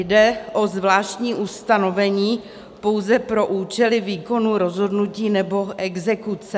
Jde o zvláštní ustanovení pouze pro účely výkonu rozhodnutí nebo exekuce.